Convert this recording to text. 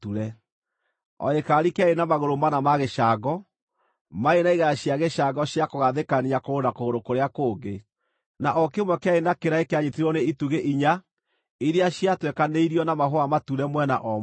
O gĩkaari kĩarĩ na magũrũ mana ma gĩcango, maarĩ na igera cia gĩcango cia kũgathĩkania kũgũrũ na kũgũrũ kũrĩa kũngĩ, na o kĩmwe kĩarĩ na kĩraĩ kĩanyiitĩrĩirwo nĩ itugĩ inya iria ciatwekanĩirio na mahũa mature mwena o mwena.